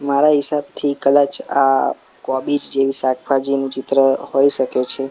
મારા હિસાબથી કદાચ આ કોબીજ જેવી શાકભાજીનું ચિત્ર હોય સકે છે.